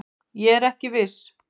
Ég er ekki viss.